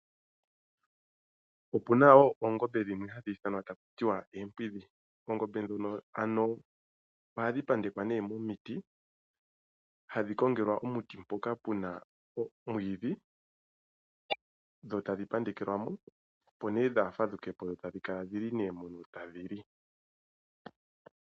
Opu na wo oongombe dhimwe hadhi ithanwa ta ku tiwa oompwidhi. Oongombe ndhono ano ohadhi pandekwa nduno momiti hadhi kongelwa omuti mpoka pu na omwiidhi dho tadhi pandekelwa mo, opo nee dhaa fadhuke po dho tadhi kala dhi li nee mono tadhi li.